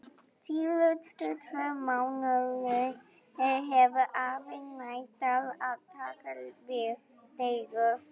Síðustu tvo mánuði hefur afi neitað að taka við leigu.